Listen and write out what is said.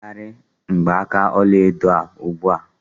Megharịa mgbaaka ọla edo a ugbu a!